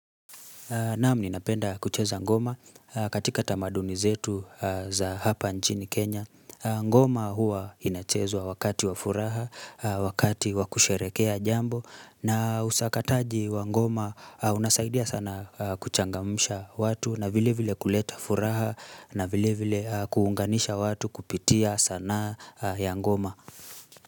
Naam ninapenda kucheza ngoma katika tamaduni zetu za hapa nchini Kenya. Ngoma hua inachezwa wakati wa furaha, wakati wakusherehekea jambo. Na usakataji wa ngoma unasaidia sana kuchangamsha watu na vile vile kuleta furaha na vile vile kuunganisha watu kupitia sana ya ngoma.